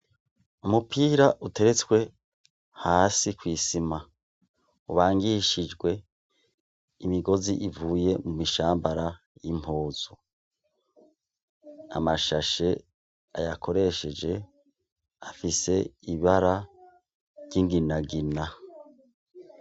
Umupira uteretswe hasi ku isima. Ubangishijwe imigozi ivuye mu mishambara y'impuzu. Amashashe ayakoresheje afise ibara ry'inginagina.